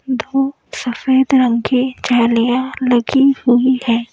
दो सफेद रंग के जालियां लगी हुई हैं।